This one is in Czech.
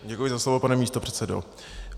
Děkuji za slovo, pane místopředsedo.